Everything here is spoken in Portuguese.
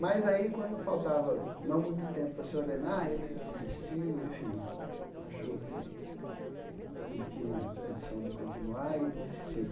Mas aí, quando faltava não muito tempo para se ordenar, ele desistiu, enfim, achou que não tinha condição de continuar e desistiu.